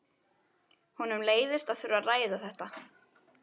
Honum leiðist að þurfa að ræða þetta.